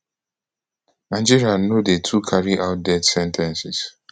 nigeria no dey too carry out death sen ten ces